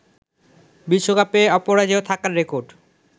বিশ্বকাপে অপারেজয় থাকার রেকর্ড